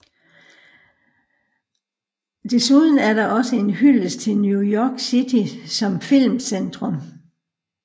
Desuden er den også en hyldest til New York City som filmcentrum